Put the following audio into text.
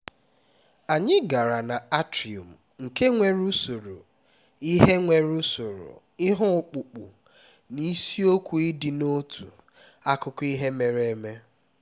anyị gara na atrium nke nwere usoro ihe nwere usoro ihe ọkpụkpụ na isiokwu ịdị n'otu akụkọ ihe mere eme